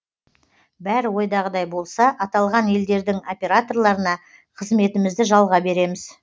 бәрі ойдағыдай болса аталған елдердің операторларына қызметімізді жалға береміз